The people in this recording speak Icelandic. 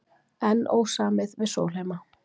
Enn ósamið við Sólheima